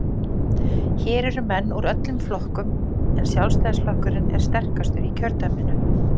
Hér eru menn úr öllum flokkum, en Sjálfstæðisflokkurinn er sterkastur í kjördæminu.